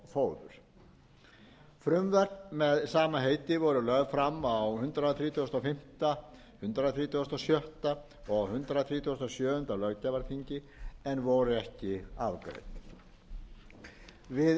frumvörp með sama heiti voru lögð fram á hundrað þrítugasta og fimmta hundrað þrítugasta og sjötta og hundrað þrítugasta og sjöunda löggjafarþingi en voru ekki afgreidd við